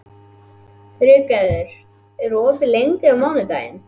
Friðgerður, hvað er opið lengi á mánudaginn?